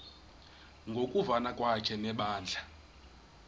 ngokuvana kwakhe nebandla